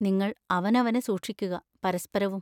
നിങ്ങൾ അവനവനെ സൂക്ഷിക്കുക, പരസ്പരവും.